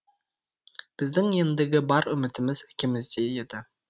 біздің ендігі бар үмітіміз әкемізде еді